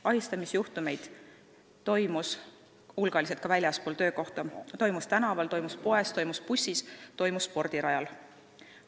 Ahistamisjuhtumeid toimus hulgaliselt ka väljaspool töökohta, neid toimus tänaval, poes, bussis, spordirajal.